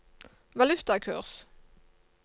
valutakurs